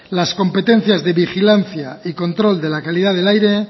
las competencias de vigilancia y control de la calidad del aire